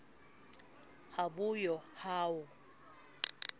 ha bo yo ha ho